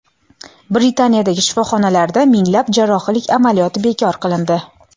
Britaniyadagi shifoxonalarda minglab jarrohlik amaliyoti bekor qilindi.